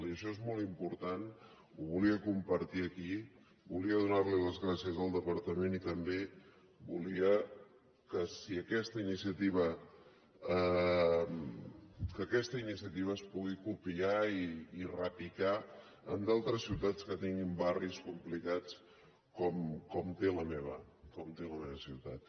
i això és molt important ho volia compartir aquí volia donar les gràcies al departament i també volia que aquesta iniciativa es pugui copiar i repicar en altres ciutats que tinguin barris complicats com té la meva ciutat